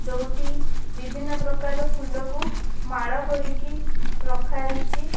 ଯୋଉଠି ବିଭିନ୍ନ ପ୍ରକାରର ଫୁଲକୁ ମାଳ କରିକି ରଖା ହେଇଛି--